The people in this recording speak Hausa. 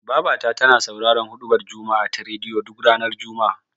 Babata tana sauraron huɗubar juma'a ta rediyo, duk ranar juma'a.